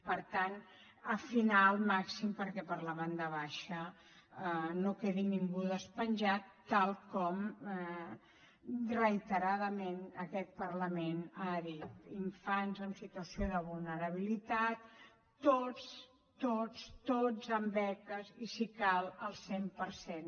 per tant afinar al màxim perquè per la banda baixa no quedi ningú despenjat tal com reiteradament aquest parlament ha dit infants en situació de vulnerabilitat tots tots tots amb beques i si cal al cent per cent